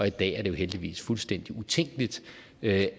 i dag er det jo heldigvis fuldstændig utænkeligt at